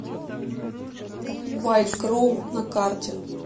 вайт кроу на карте